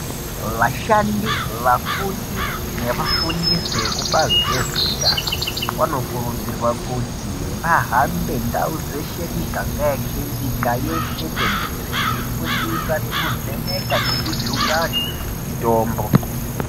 Vashandi, vafundi nevafundisi vekubazi rezveutano. Vanokurudzirwa kuti vahambe ndau dzeshe miganga yeshe nyika yeshe tenderere. Veifundisa nekuvheneka nekujunga antu mitombo.